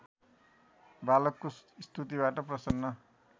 बालकको स्तुतिबाट प्रसन्न